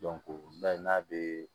n'a bɛ